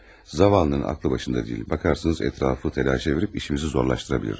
Zavalının ağlı başında deyil, baxarsınız ətrafı təlaşə verib işimizi zorlaşdıra bilir.